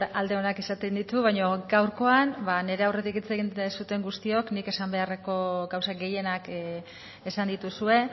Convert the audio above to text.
alde onak izaten ditu baino gaurkoan ba nire aurretik hitz egin duzuen guztiok nik esan beharreko gauza gehienak esan dituzue